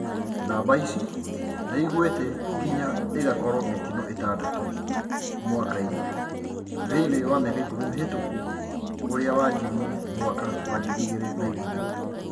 Namba ici niiguite nginya igakorwo mitino itandatu mwaka-ini thiinia wa miaka ikumi mihituku uria wanjirie mwaka wa 2010